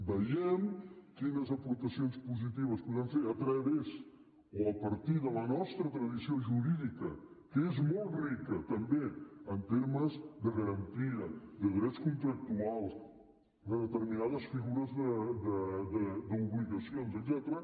vegem quines aportacions positives podem fer a través o a partir de la nostra tradició jurídica que és molt rica també en termes de garantia de drets contractuals de determinades figures d’obligacions etcètera